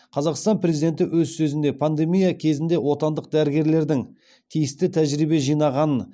қазақстан президенті өз сөзінде пандемия кезінде отандық дәрігерлердің тиісті тәжірибе жинағанын